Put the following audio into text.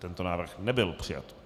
Tento návrh nebyl přijat.